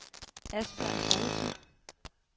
Asbjørn Poulsen